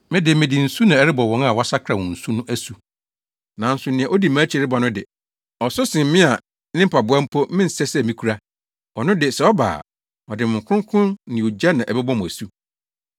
“Me de, mede nsu na ɛrebɔ wɔn a wɔasakra wɔn su no asu. Nanso nea odi mʼakyi reba no de, ɔso sen me a ne mpaboa mpo mensɛ sɛ mikura. Ɔno de, sɛ ɔba a, ɔde Honhom Kronkron ne ogya na ɛbɛbɔ mo asu.